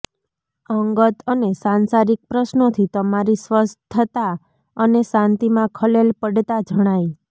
અંગત અને સાંસારિક પ્રશ્નોથી તમારી સ્વસ્થતા અને શાંતિમાં ખલેલ પડતા જણાય